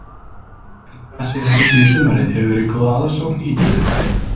En hvað segir Helgi með sumarið, hefur verið góð aðsókn í dýragarðinn?